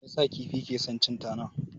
Me yasa kifi ke son cin tana?